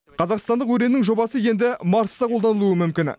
қазақстандық өреннің жобасы енді марста қолданылуы мүмкін